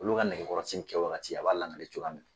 Olu ka nɛgɛkɔrɔsigi kɛwaati a b'a lankale cogoya min na.